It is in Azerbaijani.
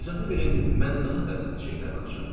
İcazə verin, mən daha təsirli şeylər danışım.